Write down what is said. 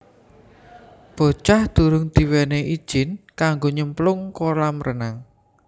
Bocah durung diwenehi ijin kanggo nyemplung kolam renang